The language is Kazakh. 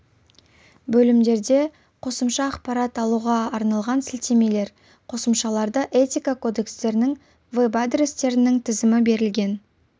бөлімдерде қосымша ақпарат алуға арналған сілтемелер қосымшаларда этика кодекстерінің веб-адрестерінің тізімі берілген